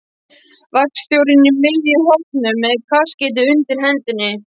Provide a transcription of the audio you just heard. Vagnstjórinn í miðjum hópnum með kaskeitið undir hendinni.